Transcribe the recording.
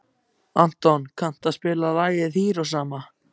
Anton, kanntu að spila lagið „Hiroshima“?